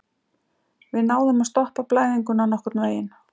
Við náðum að stoppa blæðinguna nokkurnveginn.